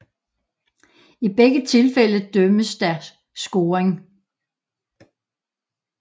I begge tilfælde dømmes der scoring